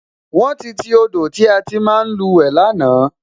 Wón ti ti odò tí a ti ń máa luwe lánàá